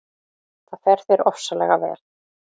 Það fer þér ofsalega vel!